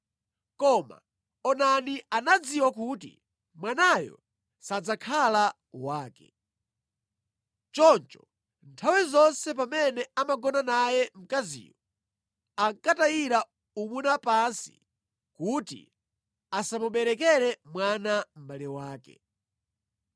Koma Onani anadziwa kuti mwanayo sadzakhala wake. Choncho nthawi zonse pamene amagona naye mkaziyo, ankatayira umuna pansi kuti asamuberekere mwana mʼbale wake.